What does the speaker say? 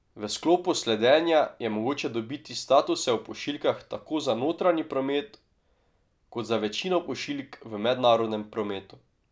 V sklopu sledenja je mogoče dobiti statuse o pošiljkah tako za notranji promet kot za večino pošiljk v mednarodnem prometu.